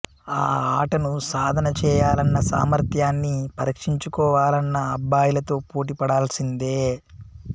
ఆ ఆటను సాధన చేయాలన్నా సామర్థ్యాన్ని పరీక్షించుకోవాలన్నా అబ్బాయిలతో పోటీ పడాల్సిందే